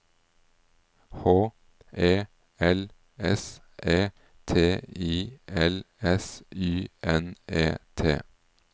H E L S E T I L S Y N E T